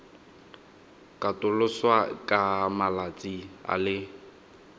katoloswa ka malatsi a le